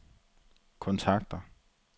kontakter